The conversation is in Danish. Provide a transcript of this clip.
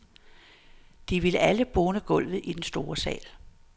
De ville bone gulvet i den store sal.